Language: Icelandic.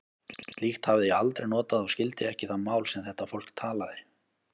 Slíkt hafði ég aldrei notað og skildi ekki það mál, sem þetta fólk talaði.